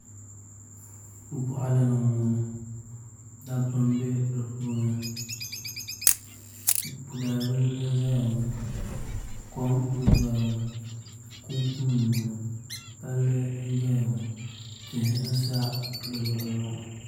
Boɣali ni n boŋo dabba n bɛ di puuni dalibili n ʒɛya ŋo kom n doya ŋo paapu nim n boŋo palli n doya ŋo tihi n sa di luɣuli ni